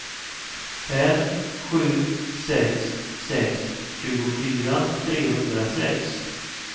fem sju sex sex tjugofyra trehundrasex